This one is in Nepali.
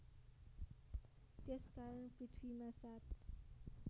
त्यसकारण पृथ्वीमा सात